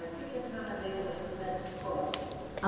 O que que a senhora lembra assim da escola? Ah